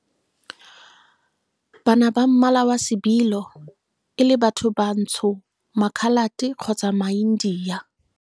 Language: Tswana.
bana ba mmala wa sebilo e le bathobantsho, Makhalate kgotsa maIndia.